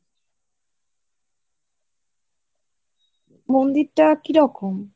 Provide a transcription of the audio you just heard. মন্দিরটা কিরকম?